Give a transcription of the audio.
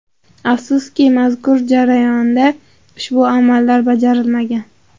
Afsuski, mazkur jarayonda ushbu amallar bajarilmagan.